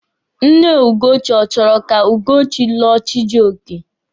Nne Ugochi ọ chọrọ ka Ugochi lụọ Chijioke?